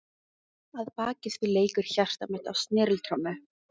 Að baki því leikur hjarta mitt á sneriltrommu.